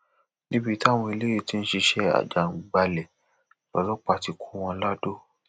níbi táwọn eléyìí ti ń ṣiṣẹ àjàǹgbàbalè lọlọpàá ti kọ wọn ladò